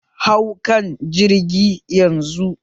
Hau kan jirgi yanzu!